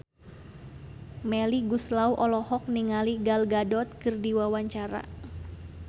Melly Goeslaw olohok ningali Gal Gadot keur diwawancara